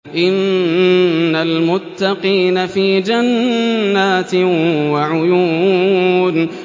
إِنَّ الْمُتَّقِينَ فِي جَنَّاتٍ وَعُيُونٍ